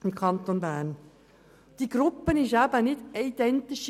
Diese Gruppe ist nicht homogen.